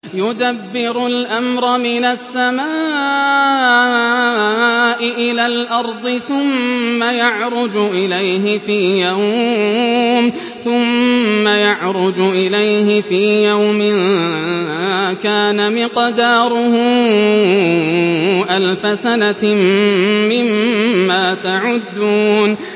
يُدَبِّرُ الْأَمْرَ مِنَ السَّمَاءِ إِلَى الْأَرْضِ ثُمَّ يَعْرُجُ إِلَيْهِ فِي يَوْمٍ كَانَ مِقْدَارُهُ أَلْفَ سَنَةٍ مِّمَّا تَعُدُّونَ